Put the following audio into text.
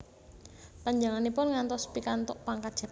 Panjenenganipun ngantos pikantuk pangkat jendral